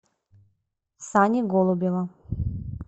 сани голубева